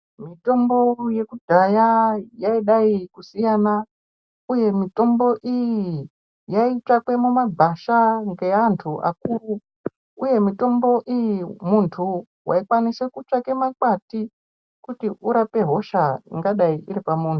Mitombo yekudhaya yaidai kusiyana uye mitombo iyi yaitsvakwa mumagwasha ngevantu vakuru uye mitombo iyi muntu waikwanisa kutsvaka makwati kurapa hisha ingadai iri pamuntu.